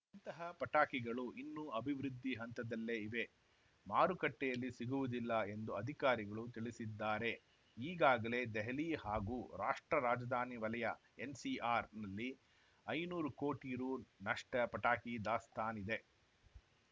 ಇಂತಹ ಪಟಾಕಿಗಳು ಇನ್ನೂ ಅಭಿವೃದ್ಧಿ ಹಂತದಲ್ಲೇ ಇವೆ ಮಾರುಕಟ್ಟೆಯಲ್ಲಿ ಸಿಗುವುದಿಲ್ಲ ಎಂದು ಅಧಿಕಾರಿಗಳು ತಿಳಿಸಿದ್ದಾರೆ ಈಗಾಗಲೇ ದೆಹಲಿ ಹಾಗೂ ರಾಷ್ಟ್ರ ರಾಜಧಾನಿ ವಲಯ ಎನ್‌ಸಿಆರ್‌ನಲ್ಲಿ ಐನೂರು ಕೋಟಿ ರುನಷ್ಟುಪಟಾಕಿ ದಾಸ್ತಾನಿದೆ